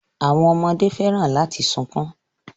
Àwọn ọmọdé fẹ́ràn láti sunkún